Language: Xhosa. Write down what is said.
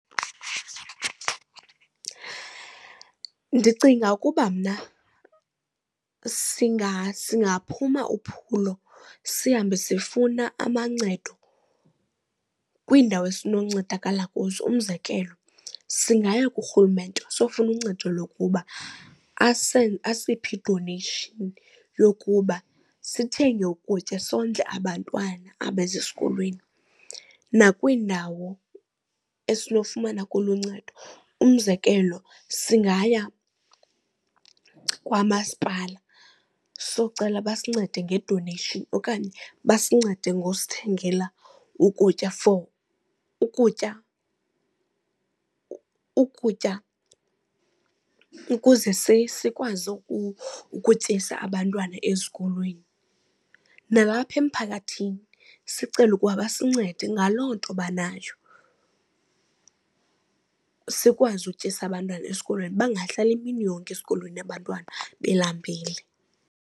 Ndicinga ukuba mna singaphuma uphulo, sihambe sifuna amancedo kwiindawo esinoncedakala kuzo. Umzekelo, singayi kurhulumente siyofuna uncedo lokuba asiphe i-donation yokuba sithenge ukutya sondle abantwana abeze esikolweni. Nakwiindawo esinofumana kulo uncedo. Umzekelo, singaya kwamasipala siyokucela basincede nge-donation okanye basincede ngosithengela ukutya for ukutya ukutya ukuze sikwazi ukutyisa abantwana esikolweni. Nalapha emphakathini sicele ukuba basincede ngaloo nto banayo, sikwazi utyisa abantwana esikolweni bangahlali imini yonke esikolweni abantwana belambile.